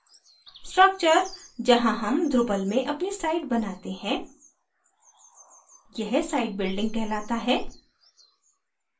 structure जहाँ हम drupal में अपनी site बनाते हैं यह site building कहलाता है